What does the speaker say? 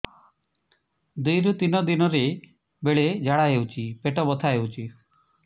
ଦୁଇରୁ ତିନି ଦିନରେ ବେଳେ ଝାଡ଼ା ହେଉଛି ପେଟ ବଥା ହେଉଛି